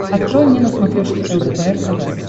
открой мне на смотрешке лдпр тв